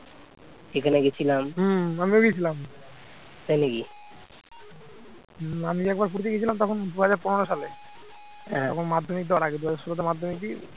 মাধ্যমিক দেওয়ার আগে দুহাজার ষোলো তে মাধ্যমিক দি